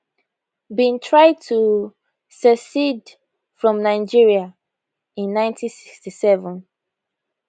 bin try to secede from nigeria in 1967